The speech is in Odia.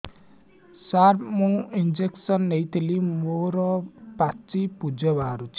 ସାର ମୁଁ ଇଂଜେକସନ ନେଇଥିଲି ମୋରୋ ପାଚି ପୂଜ ବାହାରୁଚି